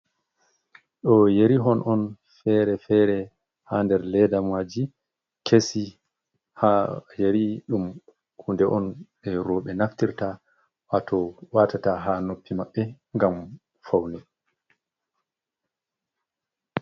Ɗo yeri hon on fere-fere ha nder ledamaji kesi. ha yari ɗum hunde on e'roɓe naftirta wato watata ha noppi maɓɓe ngam faune.